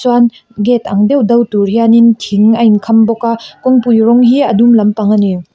chuan gate ang deuh deuh tur hianin thing a in kham bawk a kawngpui rawng hi a dum lampang a ni.